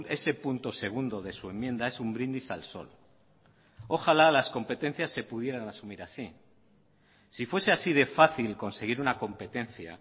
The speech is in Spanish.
ese punto segundo de su enmienda es un brindis al sol ojalá las competencias se pudieran asumir así si fuese así de fácil conseguir una competencia